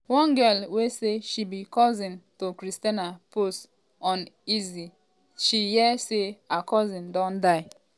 one girl um wey say she becousin to christiana post onlinesay she hear say her cousin don die. um